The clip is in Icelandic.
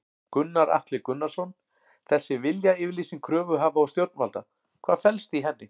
Gunnar Atli Gunnarsson: Þessi viljayfirlýsing kröfuhafa og stjórnvalda, hvað felst í henni?